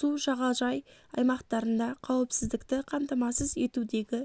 су жағажай аймақтарында қауіпсіздікті қамтамасыз етудегі